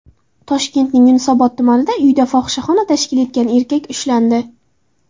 Toshkentning Yunusobod tumanida uyida fohishaxona tashkil etgan erkak ushlandi.